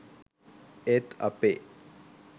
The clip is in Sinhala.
ඒත් අපේ